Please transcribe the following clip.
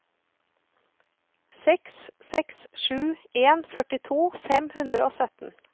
seks seks sju en førtito fem hundre og sytten